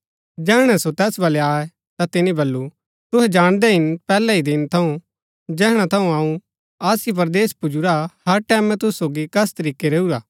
जैहणै सो तैस बलै आये ता ता तिनी बल्लू तुहै जाणदै हिन पैहलै ही दिन थऊँ जैहणा थऊँ अऊँ आसिया परदेस पुजुरा हर टैमैं तुसु सोगी कस तरीकै रैऊरा